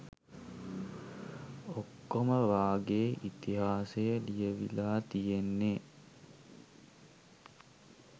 ඔක්කොම වගේ ඉතිහාසය ලියවිලා තියෙන්නේ